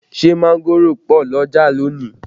Ṣé mángòrò pọ̀ l'ọ́jà lónìí?